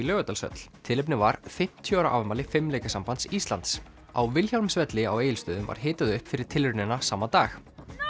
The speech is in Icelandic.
Laugardalshöll tilefnið var fimmtíu ára afmæli fimleikasambands Íslands á Vilhjálmsvelli á Egilsstöðum var hitað upp fyrir tilraunina sama dag